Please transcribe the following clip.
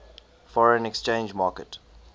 foreign exchange market